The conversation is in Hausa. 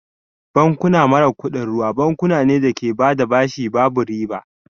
Bankuna mara kuɗin ruwa bankuna ne da ke bada bashi babu riba